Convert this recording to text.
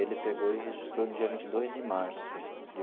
Ele pegou e registrou no dia vinte e dois de março de.